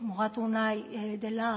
mugatu nahi dela